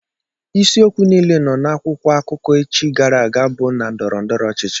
Isi okwu niile nọ nakwụkwọ akụkọ echi gara aga bu na ndọrọndọrọ ọchịchị.